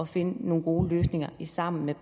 finde nogle gode løsninger sammen med